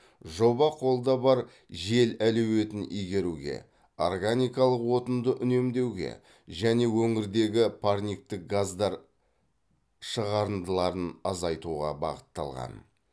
жоба қолда бар жел әлеуетін игеруге органикалық отынды үнемдеуге және өңірдегі парниктік газдар шығарындыларын азайтуға бағытталған